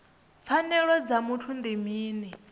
pfanelo dza muthu ndi mini